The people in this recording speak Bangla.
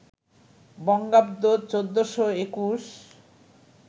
বঙ্গাব্দ ১৪২১